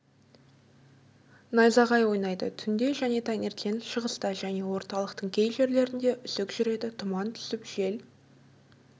найзағай ойнайды түнде және таңертең шығыста және орталықтың кей жерлерінде үсік жүреді тұман түсіп жел